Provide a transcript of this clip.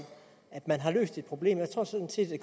at man har løst et problem jeg tror sådan set at